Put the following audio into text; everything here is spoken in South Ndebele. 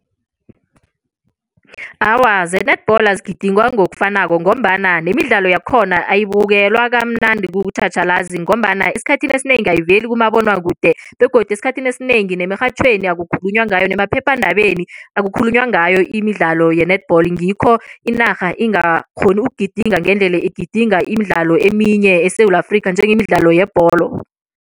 Awa, ze-netball azigidingwa ngokufanako ngombana nemidlalo yakhona ayibukelwa kamnandi kutjhatjhalazi ngombana esikhathini esinengi ayiveli kumabonwakude begodu esikhathini esinengi nemirhatjhweni akukhulunywa ngayo nemaphephandabeni akukhulunywa ngayo imidlalo ye-netball ngikho inarha ingakghoni ukugidinga ngendlela igidinga imidlalo eminye eSewula Afrikha njengemidlalo yebholo.